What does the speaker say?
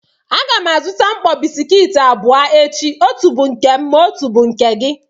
A ga m azụta mkpọ bisikiiti abụọ echi, otu bu nke m ma otu bu nke gị.